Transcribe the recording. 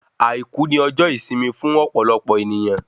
Àìkú ni ọjọ́ ìsinmi fún ọ̀pọ̀lọpọ̀ èniyàn